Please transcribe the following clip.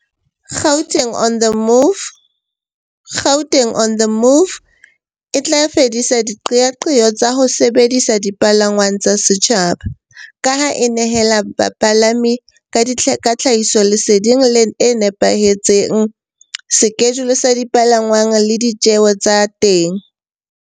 Gauteng on the Move e tla fedisa diqeaqeo tsa ho sebedisa dipalangwang tsa setjhaba, ka ha e nehela bapalami ka tlhahisoleseding le nepahetseng, skejule sa dipalangwang le di tjeo tsa